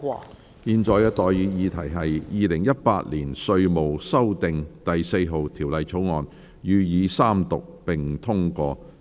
我現在向各位提出的待議議題是：《2018年稅務條例草案》予以三讀並通過。